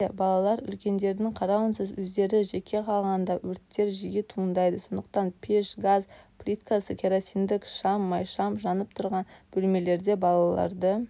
әсіресе балалар үлкендердің қарауынсыз өздері жеке қалғанда өрттер жиі туындайды сондықтанда пеш газ плитасы керосиндік шам майшам жанып тұрған бөлмелерде балаларды